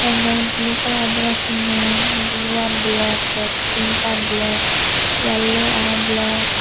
ende in blue color dress pinnon blue an black te pink ar black yellow aro black .